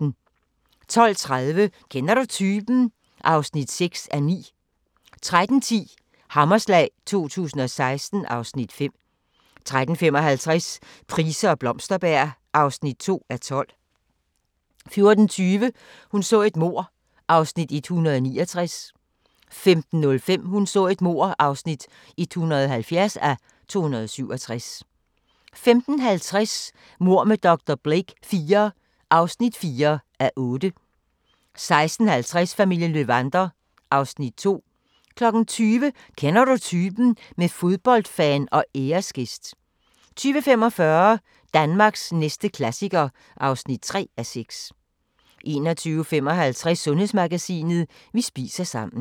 12:30: Kender du typen? (6:9) 13:10: Hammerslag 2016 (Afs. 5) 13:55: Price og Blomsterberg (2:12) 14:20: Hun så et mord (169:267) 15:05: Hun så et mord (170:267) 15:50: Mord med dr. Blake IV (4:8) 16:50: Familien Löwander (Afs. 2) 20:00: Kender du typen? – med fodboldfan og æresgæst 20:45: Danmarks næste klassiker (3:6) 21:55: Sundhedsmagasinet: Vi spiser sammen